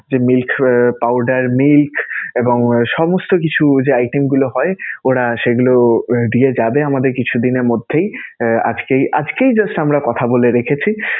যে milk soya powder milk এবং সমস্ত কিছু যে item গুলো হয় ওরা সেগুলো দিয়ে যাবে আমাদের কিছুদিনের মধ্যেই, আজকেই আজকেই just আমরা কথা বলে রেখেছি.